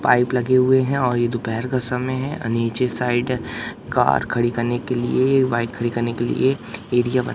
pipe लगे हुएं हैं और ये दोपहर का समय हैं नीचे साइड कार खड़ी करने के लिए बाइक खड़ी के लिए एरिया बना--